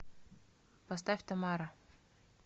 поставь тамара